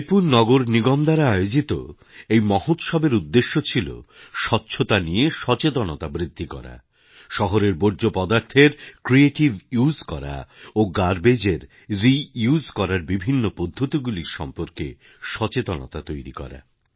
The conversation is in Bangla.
রায়পুর নগরনিগম দ্বারা আয়োজিত এই মহোৎসবের উদ্দেশ্য ছিল স্বচ্ছতা নিয়ে সচেতনতা বৃদ্ধি করা শহরের বর্জ্য পদার্থের ক্রিয়েটিভিউজ করা ও গার্বেজ এর রিউস করার বিভিন্ন পদ্ধতিগুলির সম্পর্কে সচেতনতা তৈরি করা